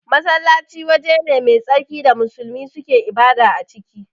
Masallaci waje ne mai tsarki da musulmi suke ibada a ciki